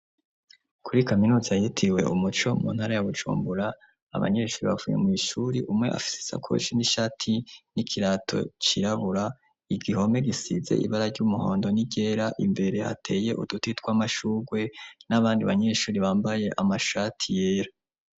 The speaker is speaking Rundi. Kuri kaminuza yitiwe umuco mu ntara ya Bujumbura abanyeshure bavuye mw'ishuri umwe afise isakoshi n'ishati n'ikirato cirabura, igihome gisize ibara ry'umuhondo n'iryera imbere hateye uduti tw'amashurwe n'abandi banyeshure bambaye amashati yera.